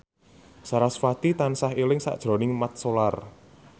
sarasvati tansah eling sakjroning Mat Solar